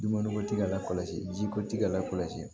Dumuni ko ti ka lakɔlɔsi ji ko ti ka lakɔlɔsi